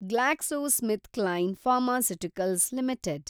GlaxoSmithKline pharmaceuticals limited